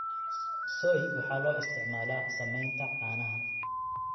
Soy waxa loo isticmaalaa samaynta caanaha.